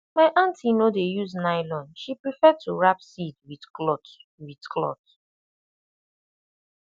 my aunty no dey use nylon she prefer to wrap seed with cloth with cloth